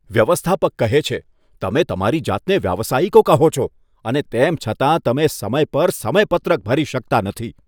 વ્યવસ્થાપક કહે છે, તમે તમારી જાતને વ્યાવસાયિકો કહો છો અને તેમ છતાં તમે સમય પર સમયપત્રક ભરી શકતા નથી.